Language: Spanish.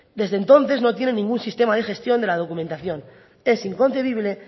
desde entonces no tiene ningún sistema de gestión de la documentación es inconcebible